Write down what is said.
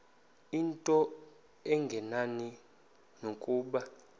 into engenani nokuba